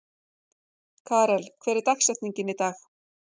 Karel, hver er dagsetningin í dag?